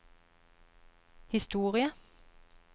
historie